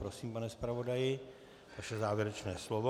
Prosím, pane zpravodaji, vaše závěrečné slovo.